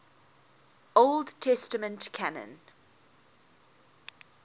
old testament canon